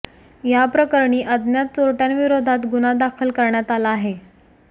या प्रकरणी अज्ञात चोरटय़ांविरोधात गुन्हा दाखल करण्यात आला आहे